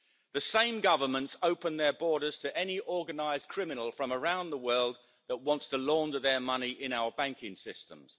The same governments open their borders to any organised criminal from around the world that wants to launder their money in our banking systems.